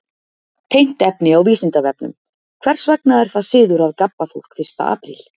Tengt efni á Vísindavefnum: Hvers vegna er það siður að gabba fólk fyrsta apríl?